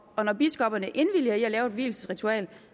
og når biskopperne indvilliger i at lave et vielsesritual